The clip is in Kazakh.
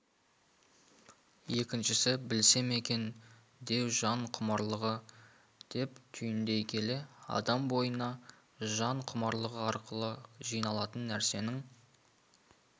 екіншісі білсем екен деу жан құмарлығы деп түйіндей келе адам бойына жан құмарлығы арқылы жиналатын нәрсенің